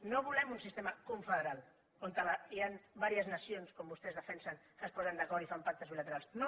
no volem un sistema confederal on hi han vàries nacions com vostès defensen que es posen d’acord i fan pactes bilaterals no